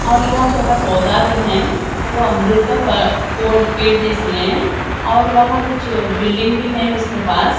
और यहा छोटा पौधा भी है वो अमरुत का प पोड़ पेड़ जैसी है और वहां कुछ बिल्डिंग भी है उसके पास।